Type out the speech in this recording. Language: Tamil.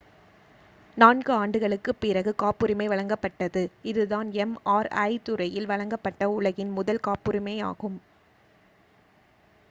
நான்கு ஆண்டுகளுக்குப் பிறகு காப்புரிமை வழங்கப்பட்டது இதுதான் எம்.ஆர்.ஐ துறையில் வழங்கப்பட்ட உலகின் முதல் காப்புரிமையாகும்